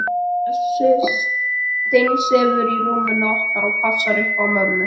Bjössi steinsefur í rúminu okkar og passar upp á mömmu.